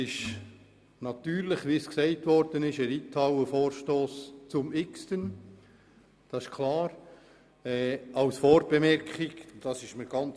Wie gesagt wurde, handelt es sich hierbei natürlich um einen Reithallenvorstoss zum x-ten Mal.